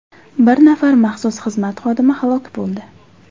Bir nafar maxsus xizmat xodimi halok bo‘ldi.